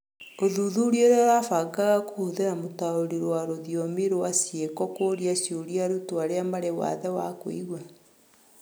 ũthuthuria ũrĩa ũrabangaga kũhũthĩra mũtaũri wa rũthiomi rũa ciĩko kũũria ciũria arutwo arĩa marĩ wathe wa kũigua.